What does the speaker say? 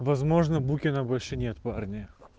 возможно букина больше нет парни